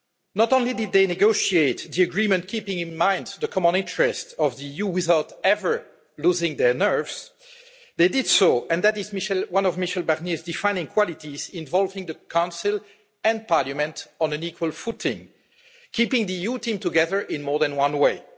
Not only did they negotiate the agreement, keeping in mind the common interests of the EU without ever losing their nerve, they did so and that is one of Michel's defining qualities involving the Council and Parliament on an equal footing, keeping the EU team together in more than one way.